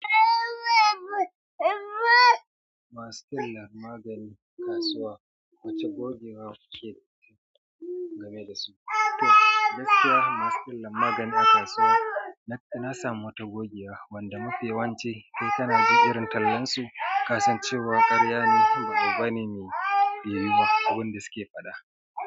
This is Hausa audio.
Masu tallar magani a kasuwa wace gogewa kuke game da su? To gaskiya masu tallan magani a kasuwa na samu wata gogewa wanda mafi yawanci kai kana jin irin tallansu kasan cewar karya ne ba abu bane mai yiyuwa abin da suke faɗa.